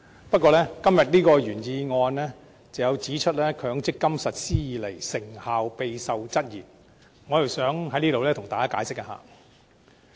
不過，就今天的原議案中有關自強積金計劃實施以來，成效備受質疑這一點，我想在這裏向大家稍作解釋。